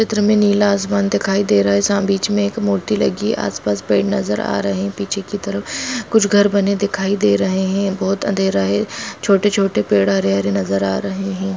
चित्र में नीला आसमान दिखाई दे रहा है साम बीच में एक मूर्ति लगी है आस-पास पेड़ नजर आ रहे है पीछे की तरफ कुछ घर बने दिखाई दे रहे हैं बहोत अँधेरा है छोटे-छोटे पेड़ हरे-हरे नजर आ रहे हैं।